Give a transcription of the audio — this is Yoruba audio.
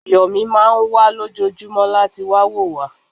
Yọ̀mí máà ń wá lójoojúmọ́ láti wá wo wa